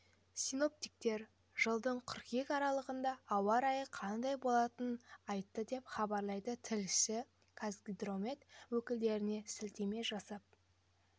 синоптиктер жылдың қыркүйек аралығында ауа райы қандай болатынын айтты деп хабарлайды тілшісі қазгидромет өкілдеріне сілтеме жасап